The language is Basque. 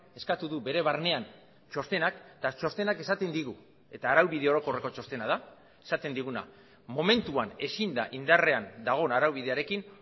eskatu du bere barnean txostenak eta txostenak esaten digu eta araubide orokorreko txostena da esaten diguna momentuan ezin da indarrean dagoen araubidearekin